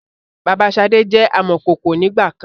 Bàbá sade jẹ amọ̀kọkò ń ìgbàkan